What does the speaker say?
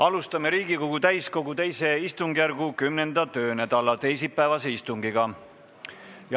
Alustame Riigikogu täiskogu II istungijärgu 10. töönädala teisipäevast istungit.